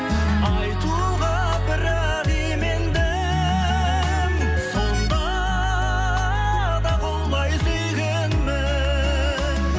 айтуға бірақ имендім сонда да құлай сүйгенмін